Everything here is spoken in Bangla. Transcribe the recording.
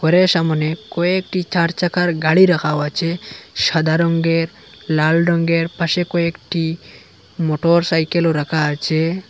ঘরের সামোনে কয়েকটি চার চাকার গাড়ি রাখাও আচে সাদা রঙ্গের লাল রঙ্গের পাশে কয়েকটি মোটরসাইকেলও রাখা আচে।